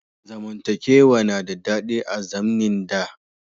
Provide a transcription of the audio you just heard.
Zamantakewa na da daɗi a zamnin da.